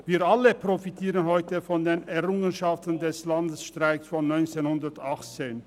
Wir alle profitieren heute von den Errungenschaften des Landesstreiks von 1918.